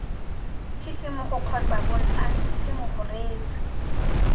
tshisimogo kgotsa bontshang tshisimogo reetsa